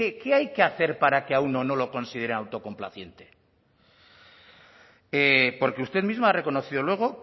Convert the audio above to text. qué hay que hacer para que a uno no lo consideren autocomplaciente porque usted mismo ha reconocido luego